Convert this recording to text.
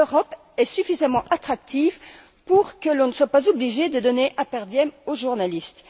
L'Europe est suffisamment attractive pour que l'on ne soit pas obligé de donner un per diem aux journalistes.